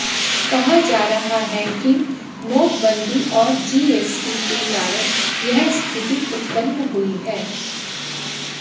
कहा जा रहा है कि नोटबंदी और जीएसटी के कारण यह स्थिति उत्पन्न हुई है